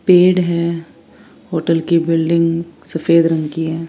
पेड़ है होटल की बिल्डिंग सफेद रंग की है।